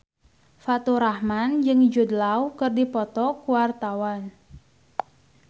Faturrahman jeung Jude Law keur dipoto ku wartawan